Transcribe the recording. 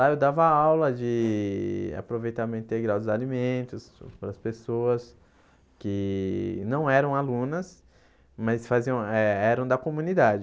Lá eu dava aula de aproveitamento integral dos alimentos para as pessoas que não eram alunas, mas faziam eh eram da comunidade.